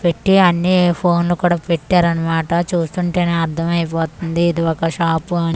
పెట్టి అన్నీ ఫోన్ లు కూడా పెట్టారన్నమాట చూస్తుంటేనే అర్థమైపోతుంది ఇది ఒక షాప్ అని.